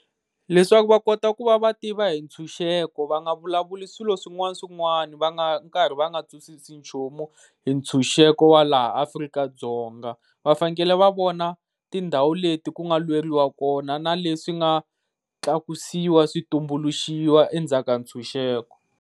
Leswaku va kota ku va va tiva hi ntshunxeko va nga vulavuli swilo swin'wana swin'wani va nga nkarhi va nga twisisi nchumu hi ntshunxeko wa laha Afrika-Dzonga. Va fanekele va vona tindhawu leti ku nga lweriwa kona na leswi nga tlakusiwa switumbuluxiwa endzhaku ka ntshunxeko.